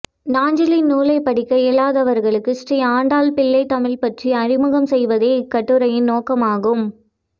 நாஞ்சிலின் நூலைப்படிக்க இயலாதவர்களுக்கு ஸ்ரீ ஆண்டாள் பிள்ளைத் தமிழ் பற்றி அறிமுகம் செய்வதே இக்கட்டுரையின் நோக்கமாகும்